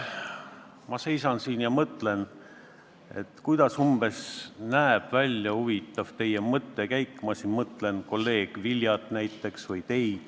Ma seisan siin ja mõtlen, kuidas umbes näeb välja teie mõttekäik – ma pean silmas kolleeg Viljat ja teid.